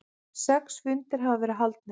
Sex fundir hafa verið haldnir.